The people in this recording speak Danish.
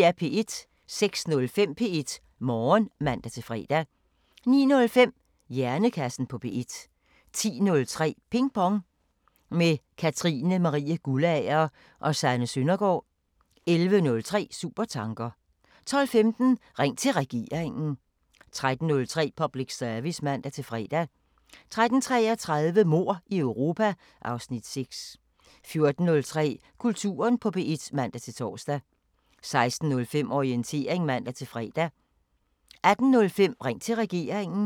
06:05: P1 Morgen (man-fre) 09:05: Hjernekassen på P1 10:03: Ping Pong – med Katrine Marie Guldager og Sanne Søndergaard 11:03: Supertanker 12:15: Ring til Regeringen 13:03: Public Service (man-fre) 13:33: Mord i Europa (Afs. 6) 14:03: Kulturen på P1 (man-tor) 16:05: Orientering (man-fre) 18:05: Ring til Regeringen